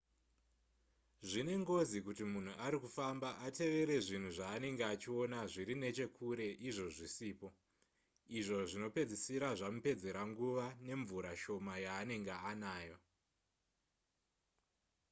zvine ngozi kuti munhu ari kufamba atevere zvinhu zvaanenge achiona zviri nechekure izvo zvisipo izvo zvinopedzisira zvamupedzera nguva nemvura shoma yaanenge anayo